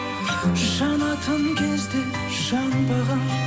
жанатын кезде жанбаған